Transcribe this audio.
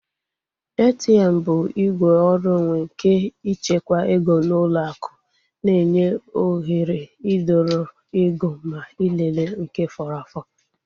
ATM bụ igwe ọrụ onwe nke ịchekwa ego n'ụlọ akụ na-enye oghere idọrọ ego ma ịlele nke fọrọ afọ